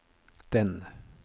den